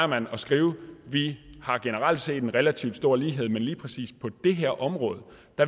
man at skrive at vi generelt set har en relativt stor lighed mens man lige præcis på det her område